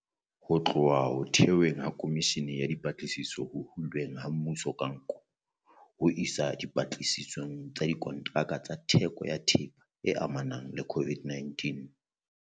Ho tloha ho theweng ha Khomishene ya Dipatlisiso Ho hulweng ha Mmuso ka Nko, ho isa diphuputsong tsa dikontraka tsa theko ya thepa e amanang le COVID-19,